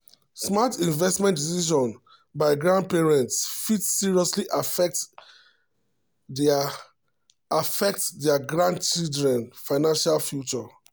smart investment decisions by grandparents fit seriously affect dia affect dia grandchildren financial future.